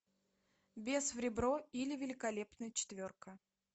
бес в ребро или великолепная четверка